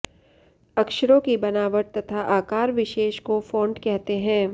अक्षरों की बनावट तथा आकार विशेष को फॉन्ट कहते हैं